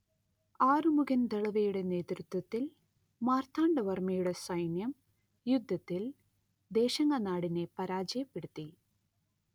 ആറുമുഖൻ ദളവയുടെ നേതൃത്വത്തിൽ മാർത്താണ്ഡവർമ്മയുടെ സൈന്യം യുദ്ധത്തിൽ ദേശിങ്ങനാടിനെ പരാജയപ്പെടുത്തി